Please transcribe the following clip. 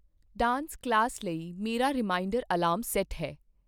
dance class ਲਈ ਮੇਰਾ reminder alarm set ਹੈ